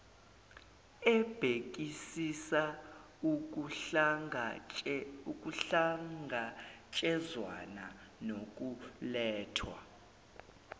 ebhekisisa ukuhlangatshezwana nokulethwa